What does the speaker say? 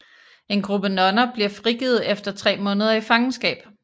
En gruppe nonner bliver frigivet efter tre måneder i fangenskab